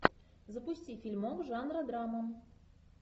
запусти фильмок жанра драма